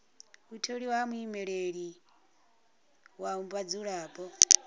u tholiwa ha muimeleli wa vhadzulapo